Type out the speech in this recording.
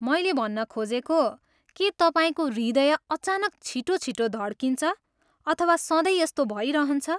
मैले भन्न खोजेको, के तपाईँको हृदय अचानक छिटो छिटो धड्किन्छ अथवा सधैँ यस्तो भइरहन्छ?